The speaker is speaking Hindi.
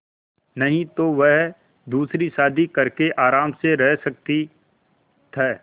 नहीं तो वह दूसरी शादी करके आराम से रह सकती थ